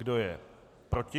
Kdo je proti?